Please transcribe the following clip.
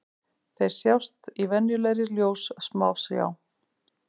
Þeir sjást í venjulegri ljóssmásjá.